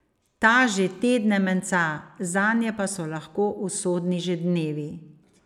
Ta že tedne menca, zanje pa so lahko usodni že dnevi.